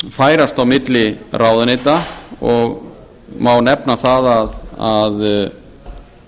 færast á milli ráðuneyta og má nefna það að